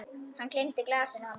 Hann gleymdi glasinu handa mér.